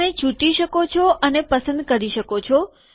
તમે ચૂંટી શકો છો અને પસંદ કરી શકો છો